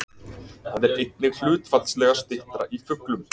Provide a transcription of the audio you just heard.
Það er einnig hlutfallslega styttra í fuglum.